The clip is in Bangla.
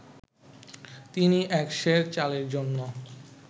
তিনি এক সের চালের জন্য